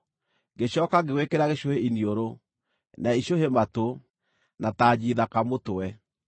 ngĩcooka ngĩgwĩkĩra gĩcũhĩ iniũrũ, na icũhĩ matũ, na tanji thaka mũtwe.